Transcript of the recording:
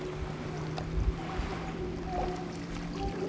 निळ्या रंगावर त्यानी पॅन्ट घातलेली आहे तो आपल्याला --